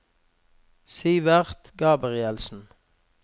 Sivert Gabrielsen